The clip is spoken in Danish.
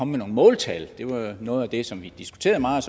med nogle måltal det var noget af det som vi diskuterede meget